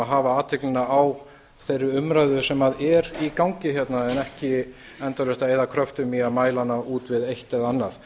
hafa athyglina á þeirri umræðu sem er í gangi hérna en ekki endalaust að eyða kröftum í að mæla hana út við eitt eða annað